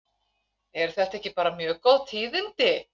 Eru þetta ekki bara mjög góð tíðindi?